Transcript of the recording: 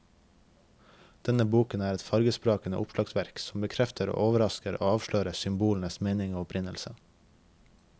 Denne boken er et fargesprakende oppslagsverk som bekrefter, overrasker og avslører symbolenes mening og opprinnelse.